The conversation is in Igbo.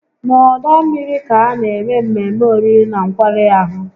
Na ọdọ mmiri ka a na-eme mmemme oriri na nkwari ahụ